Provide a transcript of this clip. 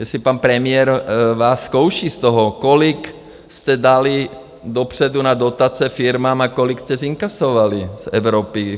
Jestli pan premiér vás zkouší z toho, kolik jste dali dopředu na dotace firmám a kolik jste zinkasovali z Evropy?